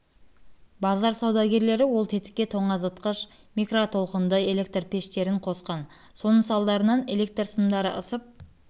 базар саудагерлері ол тетікке тоңазытқыш микро толқынды электр пештерін қосқан соның салдарынан электр сымдары ысып